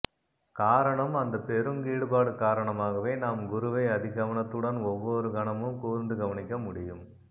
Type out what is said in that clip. காரணம் அந்தப் பெரும் ஈடுபாடு காரணமாகவே நாம் குருவை அதிகவனத்துடன் ஒவ்வொரு கணமும் கூர்ந்து கவனிக்க முடியும்